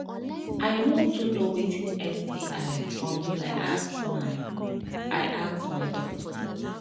i no too know watin sti until i ask my i ask my doctor